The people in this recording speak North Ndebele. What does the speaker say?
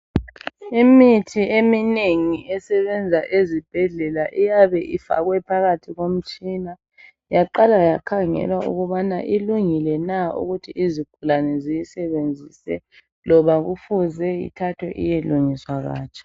Imithi eminengi esebenza ezibhedlela iyabe ifakwe phakathi komtshina, yaqala yakhangelwa ukubana ilungile na ukuthi izigulane ziyisebenzise loba kufuze ithathwe iyelungiswa katsha.